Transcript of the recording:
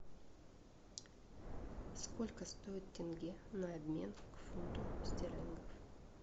сколько стоит тенге на обмен к фунту стерлингов